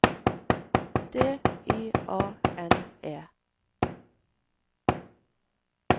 D I A N E